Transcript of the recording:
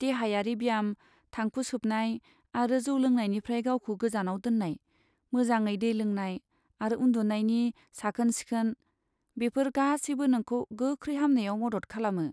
देहायारि ब्याम, थांखु सोबनाय आरो जौ लोंनायनिफ्राय गावखौ गोजानाव दोननाय, मोजाङै दै लोंनाय आरो उन्दुनायनि साखोन सिखोन, बेफोर गासैबो नोंखौ गोख्रै हामनायाव मदद खालामो।